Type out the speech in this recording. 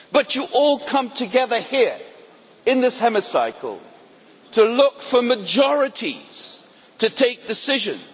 you all come together here in this Chamber to look for majorities to take decisions.